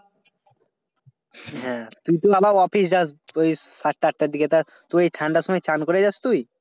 হ্যাঁ, তুই তো আবার office যাস ওই সাতটা আটার দিকে তা, তুই ঠান্ডার সময় চ্যান করে যাস তুই?